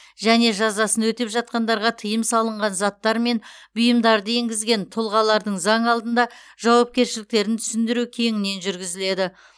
және жазасын өтеп жатқандарға тыйым салынған заттар мен бұйымдарды енгізген тұлғалардың заң алдында жауапкершіліктерін түсіндіру кеңінен жүргізіледі